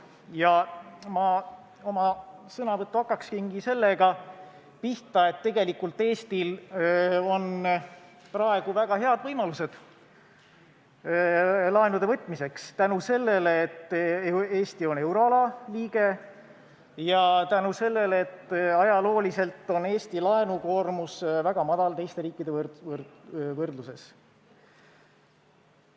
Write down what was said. Ma alustaksingi oma sõnavõttu sellega, et tegelikult on Eestil praegu väga head võimalused laenu võtta – tänu sellele, et Eesti on euroala liige, ja tänu sellele, et ajalooliselt on Eesti laenukoormus olnud väga väike teiste riikidega võrreldes.